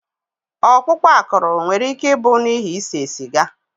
Ọkpụkpụ akụrụ nwere ike ịbụ n'ihi ise siga.